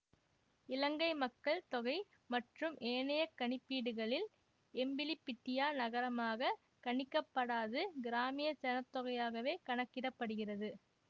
இலங்கை மக்கள் தொகை மற்றும் ஏனைய கணிப்பீடுகளில் எம்பிலிபிட்டியா நகரமாக கணிக்கப்படாது கிராமிய சனத்தொகையாகவே கணக்கிடப்படுகிறது